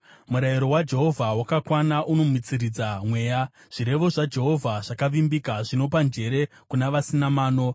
Murayiro waJehovha wakakwana, unomutsiridza mweya. Zvirevo zvaJehovha zvakavimbika, zvinopa njere kuna vasina mano.